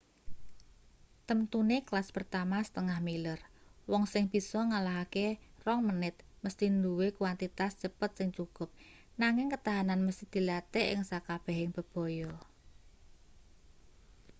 temtune kelas pertama setengah-miler wong sing bisa ngalahake rong menit mesthi duwe kwantitas cepet sing cukup nanging ketahanan mesthi dilatih ing sakabehing bebaya